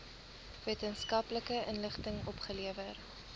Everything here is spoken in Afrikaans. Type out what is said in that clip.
wetenskaplike inligting opgelewer